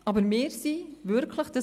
Aber wir waren wirklich überrascht.